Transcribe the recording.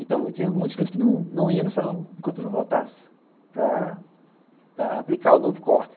Então, tinha muitas coisas que não iam no salão enquanto eu não voltasse para aplicar o novo corte.